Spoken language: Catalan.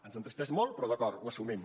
ens entristeix molt però d’acord ho assumim